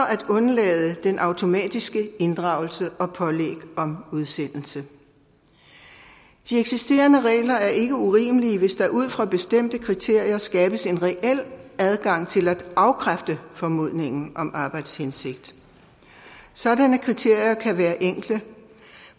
at undlade den automatiske inddragelse og pålæg om udsendelse de eksisterende regler er ikke urimelige hvis der ud fra bestemte kriterier skabes en reel adgang til at afkræfte formodningen om arbejdshensigt sådanne kriterier kan være enkle og